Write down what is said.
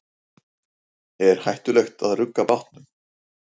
Er hættulegt að rugga bátnum?